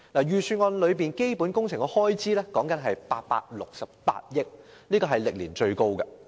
預算案有關基本工程的開支高達868億元，這是歷年最高的。